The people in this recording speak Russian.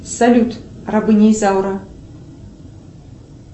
салют рабыня изаура